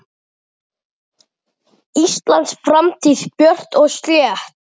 Íslands framtíð björt og slétt.